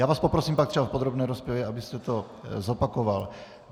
Já vás poprosím pak třeba v podrobné rozpravě, abyste to zopakoval.